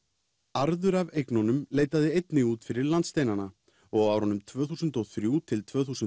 arður af eignunum leitaði einnig út fyrir landsteinana og á árunum tvö þúsund og þrjú til tvö þúsund